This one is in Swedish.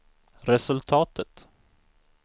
resultatet